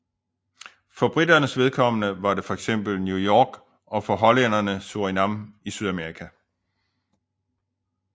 For briternes vedkommende var det fx New York og for hollænderne Surinam i Sydamerika